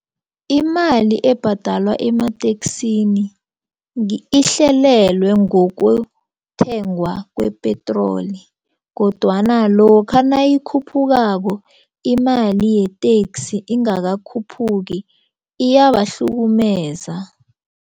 Imali ebhadalwa emateksini ihlelelwe ngokuthengwa kwepetroli kodwana lokha nayikhuphukako imali yeteksi ingakakhuphuki iyabahlukumeza.